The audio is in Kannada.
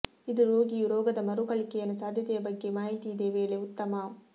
ಇದು ರೋಗಿಯು ರೋಗದ ಮರುಕಳಿಕೆಯನ್ನು ಸಾಧ್ಯತೆಯ ಬಗ್ಗೆ ಮಾಹಿತಿ ಇದೆ ವೇಳೆ ಉತ್ತಮ